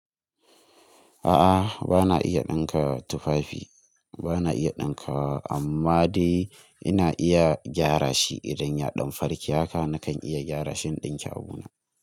A'a bana iya ɗinka tufafi bana iya ɗinkawa amma dai ina iya gyara shi idan ya ɗan farke haka nakan iya gyara shi in ɗinke abu na.